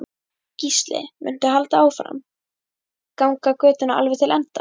Gísli: Muntu halda áfram, ganga götuna alveg til enda?